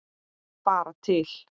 Fara til